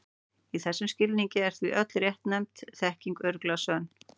Í þessum skilningi er því öll réttnefnd þekking örugglega sönn.